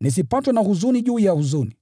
nisipatwe na huzuni juu ya huzuni.